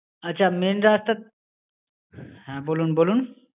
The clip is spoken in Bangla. আচ্ছা main রাস্তা। হ্যাঁ, বলুন বলুন।